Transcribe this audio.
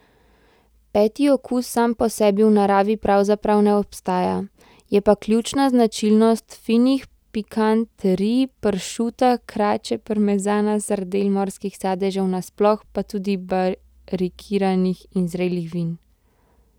Peti okus sam po sebi v naravi pravzaprav ne obstaja, je pa ključna značilnost finih pikanterij, pršuta, krače, parmezana, sardel, morskih sadežev nasploh, pa tudi barikiranih in zrelih vin.